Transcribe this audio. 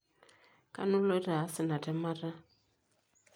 Kanu iloito aas ina temata?